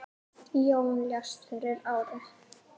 Jón lést fyrir ári.